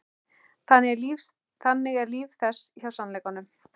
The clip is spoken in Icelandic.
Þannig er líf þess hjá sannleikanum.